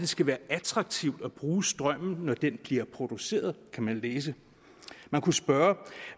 skal være attraktivt at bruge strømmen når den bliver produceret kan vi læse man kunne spørge